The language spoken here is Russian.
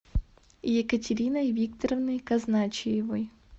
екатериной викторовной казначеевой